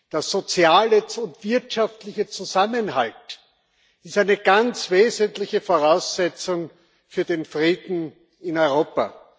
Der soziale und wirtschaftliche Zusammenhalt ist eine ganz wesentliche Voraussetzung für den Frieden in Europa.